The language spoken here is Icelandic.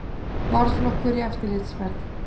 Varðflokkur í eftirlitsferð.